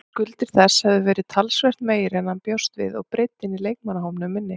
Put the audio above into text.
Skuldir þess hefðu verið talsvert meiri en hann bjóst við og breiddin í leikmannahópnum minni.